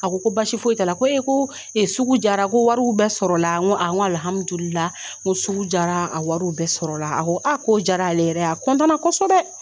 A ko basi foyi t'a la ko e ko sugu jara ko wariw bɛɛ sɔrɔ la n ko n ko sugu jara a wariw bɛɛ sɔrɔ la a ko a k'o jara ale yɛrɛ ye a kɔsɔbɛ.